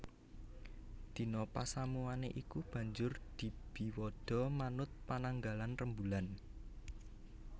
Dina pasamuwané iku banjur dibiwada manut pananggalan rembulan